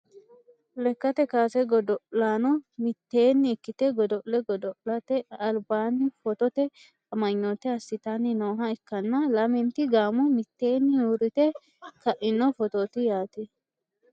lekkate kaase godo'laano mitteenni ikkite godo'le godo'late albaanni footote amanyoote assitanni nooha ikkanna, lamenti gaamo mitteenni uurrite kaino footooti yaate.